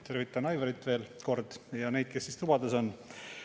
Tervitan Aivarit veel kord ja ka neid, kes tubades on.